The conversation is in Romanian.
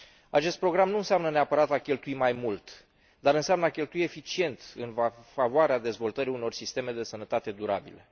Acest program nu înseamnă neapărat a cheltui mai mult, dar înseamnă a cheltui eficient, în favoarea dezvoltării unor sisteme de sănătate durabile.